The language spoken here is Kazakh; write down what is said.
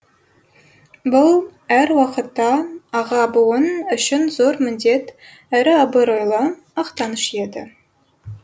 бұл әр уақытта аға буын үшін зор міндет әрі абыройлы мақтаныш еді